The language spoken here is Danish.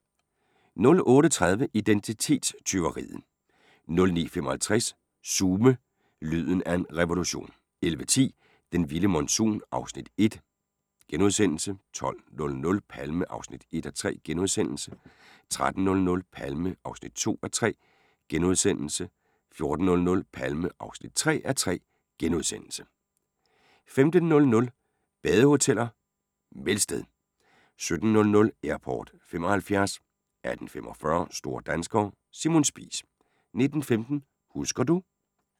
08:30: Identitetstyveriet 09:55: Sume – lyden af en revolution 11:10: Den vilde monsun (Afs. 1)* 12:00: Palme (1:3)* 13:00: Palme (2:3)* 14:00: Palme (3:3)* 15:00: Badehoteller - Melsted 17:00: Airport '75 18:45: Store danskere – Simon Spies 19:15: Husker du ...